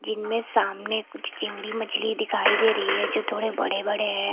जिनमे सामने कुछ चिंगडी मछली दिखाई दे रही है जो थोड़े बड़े बड़े हैं।